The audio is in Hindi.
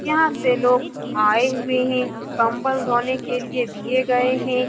यहाँ से लोग आए हुए हैं कंबल धोने के लिए दिए गये हैं।